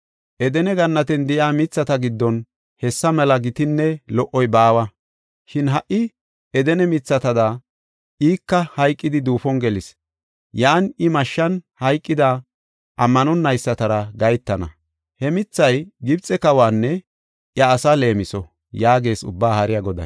Edene gannatiyan de7iya mithata giddon hessa mela gitinne lo77oy baawa. Shin ha77i Edene mithatada ika hayqidi duufon gelees; yan I mashshan hayqida ammanonaysatara gahetana. “He mithay Gibxe kawaanne iya asaa leemiso” yaagees Ubbaa Haariya Goday.